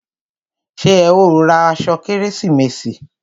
Ṣé ẹ ó ra aṣọ fún kérésìmesì?